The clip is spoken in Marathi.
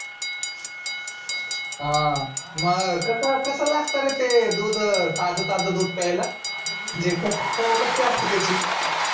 हा म कसं कसं लागत रे ते दूध ताज ताज दूध प्यायला म्हणजे कसं चव कशी असते त्याची?